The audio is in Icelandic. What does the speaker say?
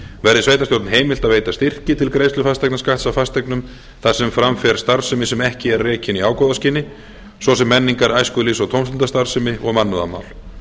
verði sveitarstjórn heimilt að veita styrki til greiðslu fasteignaskatts af fasteignum þar sem fram fer starfsemi sem ekki er rekin í ágóðaskyni svo sem menningar æskulýðs og tómstundastarfsemi og mannúðarmál